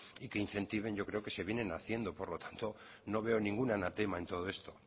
y que incentiven yo creo que se vienen haciendo por lo tanto no veo ningún anatema en todo esto